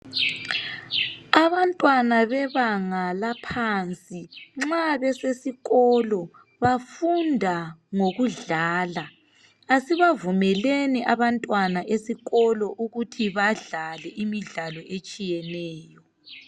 Abantwana bebanga laphansi nxa besesikolo bafunda ngokudlala. Asibavumeleni abantwana esikolo ukuthi badlale imidlalo etshiyeneyo.